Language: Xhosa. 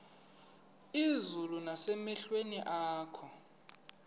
izulu nasemehlweni akho